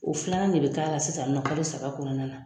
O filanan ne bi k'a la sisan nin nɔn kalo saba kɔnɔna na